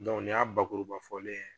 nin y'a bakuruba fɔlen ye